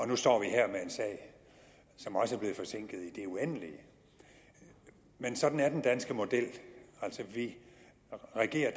nu står vi her med en sag som også er blevet forsinket i det uendelige men sådan er den danske model altså at vi regerer